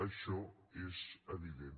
això és evident